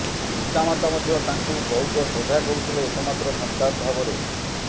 ପିତାମାତା ମଧ୍ୟ ତାଙ୍କୁ ବହୁତ ଶ୍ରଦ୍ଧା କରୁଥିଲେ ଏକମାତ୍ର ସନ୍ତାନ ଭାବରେ